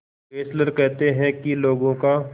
Fessler कहते हैं कि लोगों का